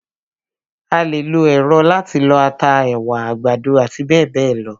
A lè lo èrọ láti lọ ata, ẹ̀wà, àgbàdo àti bẹ́ẹ̀bẹ́ẹ̀ lọ.